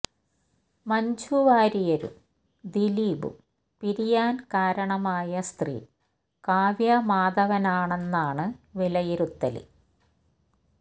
മഞ്ജു വാര്യരും ദിലീപും പിരിയാന് കാരണമായ സ്ത്രീ കാവ്യ മാധവനാണെന്നാണ് വിലയിരുത്തല്